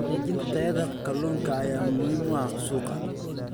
Xaqiijinta tayada kalluunka ayaa muhiim u ah suuqa.